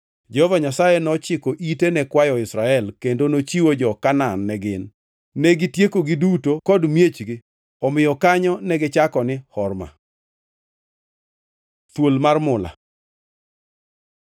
Jehova Nyasaye nochiko ite ne kwayo Israel kendo nochiwo jo-Kanaan ne gin. Negitiekogi duto kod miechgi; omiyo kanyo negichako ni Horma. + 21:3 Horma tiende ni Kethruok. Thuol mar mula